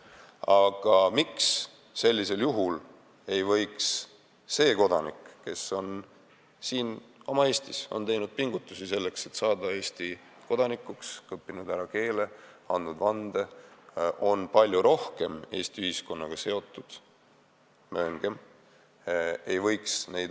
Aga miks ei võiks sellisel juhul neid õigusi omada kodanik, kes on siin Eestis teinud pingutusi selleks, et saada Eesti kodanikuks – õppinud ära keele ja andnud vande –, ja kes on, mööngem, palju rohkem Eesti ühiskonnaga seotud?